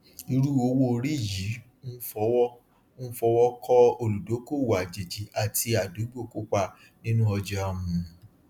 irú owóorí yìí ń fọwọ ń fọwọ kọ olùdókòwò àjèjì àti àdúgbò kópa nínú ọjà um